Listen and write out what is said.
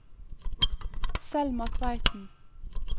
Selma Tveiten